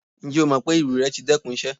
Njẹ o mọ pe iru rẹ ti dẹkun iṣẹ?